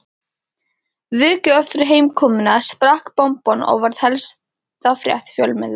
Viku eftir heimkomuna sprakk bomban og varð helsta frétt fjölmiðla